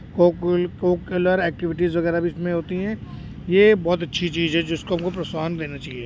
कोकुल cocurricular activities वगैरा भी इसमें होती है। ये बोहोत अच्छी चीज है जिसको हमको प्रोत्साहन देना चाहिए।